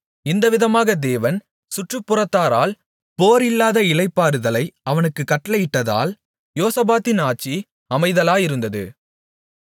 இந்தவிதமாக தேவன் சுற்றுப்புறத்தாரால் போர் இல்லாத இளைப்பாறுதலை அவனுக்குக் கட்டளையிட்டதால் யோசபாத்தின் ஆட்சி அமைதலாயிருந்தது